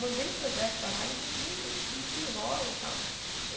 Mandei o projeto para lá e eles não en não desenrolam e tal.